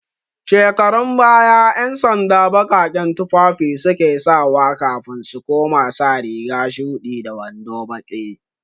Shekarun baya, 'yansanda baƙaƙen tufafi su ke sawa kafin su koma sa riga shuɗi da wando baƙi.